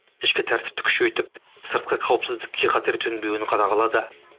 ішкі тәртіпті күшейтіп сыртқы қауіпсіздікке қатер төнбеуін қадағалады